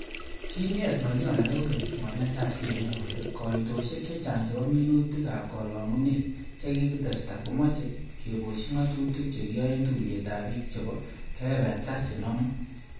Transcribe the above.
Kinget ngolyon age kokeny mornetab CMA, kole koitosiek chechang chebo minutik ab kolongunet chekikitesta, komoche kebosyi ngatutik chekiyoen tuyet ab bik tugul chebo kebebertab chenomu.